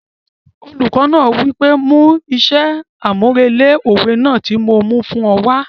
Olùkọ náà wí pé 'mú iṣẹ́ àmúrelé òwe náà tí mo fún ọ wá'